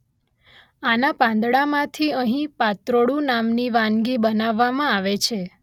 આના પાંદડામાંથી અહીં પાત્રોડુ નામની વાનગી બનાવવામાં આવે છે